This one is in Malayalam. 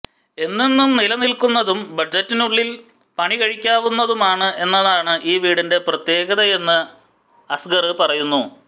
എന്നെന്നും നിലനില്ക്കുന്നതും ബജറ്റിനുള്ളില് പണികഴിക്കാവുന്നതുമാണ് എന്നതാണ് ഈ വീടിന്റെ പ്രത്യേകതയെന്ന് അസ്ഗര് പറയുന്നു